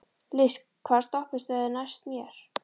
List, hvaða stoppistöð er næst mér?